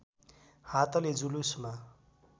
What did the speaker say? हातले जुलुसमा